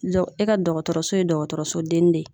Dɔn e ka dɔgɔtɔrɔso ye dɔgɔtɔrɔso denni de ye